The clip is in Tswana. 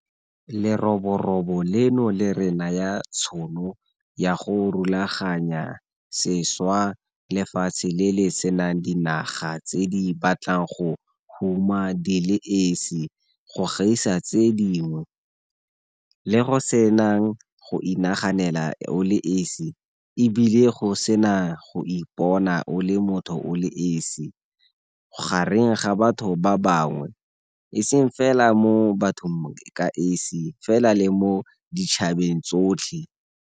Leroborobo leno le re naya tšhono ya go rulaganya sešwa lefatshe le le senang dinaga tse di batlang go huma di le esi go gaisa tse dingwe, le go senang go inaganela o le esi e bile go sena go ipona o le motho o le esi gareng ga batho ba bangwe, e seng fela mo bathong ka esi fela le mo ditšhabeng tsotlhe.